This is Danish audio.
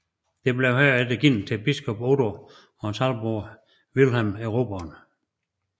Det blev herefter givet til biskop Odo af hans halvbror Vilhelm Erobreren